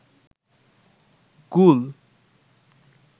গুল